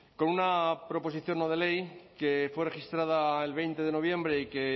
con una proposición no de ley que fue registrada el veinte de noviembre y que